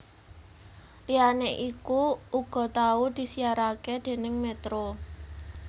Liyane iku uga tau disiarake déning Metro